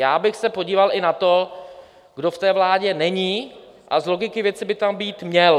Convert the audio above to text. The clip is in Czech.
Já bych se podíval i na to, kdo v té vládě není, a z logiky věci by tam být měl.